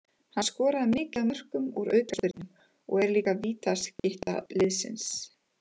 Hann skorar mikið af mörkum úr aukaspyrnum og er líka vítaskytta liðsins.